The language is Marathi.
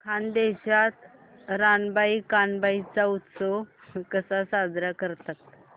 खानदेशात रानबाई कानबाई चा उत्सव कसा साजरा करतात